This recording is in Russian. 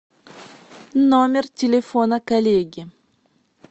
номер телефона коллеги